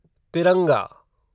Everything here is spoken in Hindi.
तिरंगा